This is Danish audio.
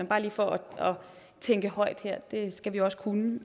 bare lige for at tænke højt her det skal vi også kunne